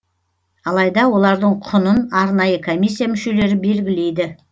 алайда олардың құнын арнайы комиссия мүшелері белгілейді